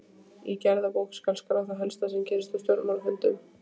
Í gerðabók skal skrá það helsta sem gerist á stjórnarfundum.